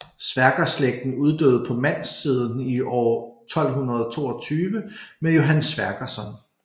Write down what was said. Sverkerslægten uddøde på mandssiden i år 1222 med Johan Sverkersson